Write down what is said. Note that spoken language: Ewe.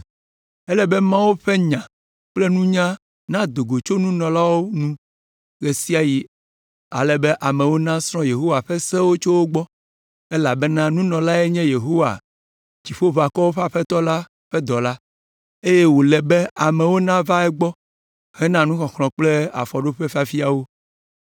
“Ele be Mawu ƒe nya kple nunya nado go tso nunɔla nu ɣe sia ɣi ale be amewo nasrɔ̃ Yehowa ƒe sewo tso egbɔ, elabena nunɔlae nye Yehowa Dziƒoʋakɔwo ƒe Aƒetɔ la ƒe dɔla, eye wòle be amewo nava egbɔ hena nuxɔxlɔ̃ kple afɔɖoƒefiafia wo.